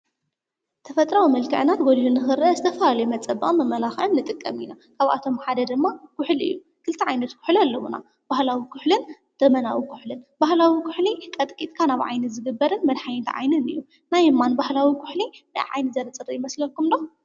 ተፈጥራዊ መልክዕና ጎሊሁ ንክረእ ዝተፍላለዩ መጸበቅን መመላክዕን ንጥቀም ኢና፤ ካባቶም ሓደ ድማ ኩሕሊ እዩ፤ ክልተ ዓይነት ኩሕሊ ኣለዉና፤ ባህላዊ ኩሕሊን ዘመናዊን ኩሕሊን፤ ባህላዊ ኩሕሊ ቀጥቂትካ ናብ ዓይኒ ዝግበርን መድሓኒት ዓይኒን እዩ። ናይ እማን ባህላዊ ኩሕሊ ንዓይኒ ዘጽሪ ይመስለኩም ዶ?